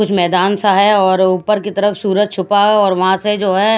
कुछ मैदान सा है और ऊपर की तरफ सूरज छुपा है और वहाँ से जो है --